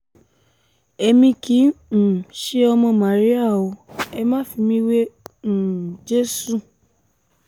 èmi kì í um ṣe ọmọ màríà o ẹ má fi mí wé um jésù